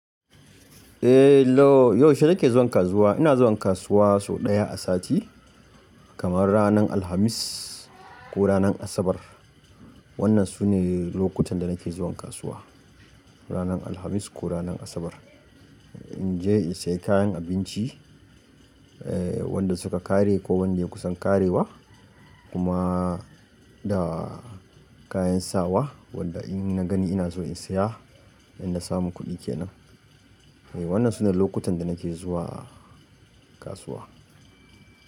Eh lo, yaushe nake zuwa kasuwa? Ina zuwa kasuwa sau ɗaya a sati, kamar ranar Alhamis ko ranar Asabar. Wannan sune lokutan da nake zuwa kasuwa, ranar Alhamis ko ranar Asabar. In je in sayi kayan abinci, eh wanda suka ƙare ko wanda ya kusan ƙarewa kuma da kayan sawa, wanda in na gani ina so in siya, in na samu kudi kenan. Wannan sune lokutan da nake zuwa kasuwa.